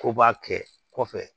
Ko b'a kɛ kɔfɛ